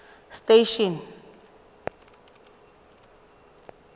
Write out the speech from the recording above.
station